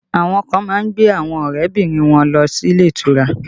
Àwọn kan má ń gbé àwọn ọrẹ bìnrin wọn lọ sí ilé ìtura